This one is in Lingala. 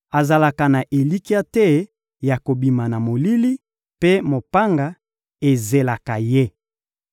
Azalaka na elikya te ya kobima na molili, mpe mopanga ezelaka ye.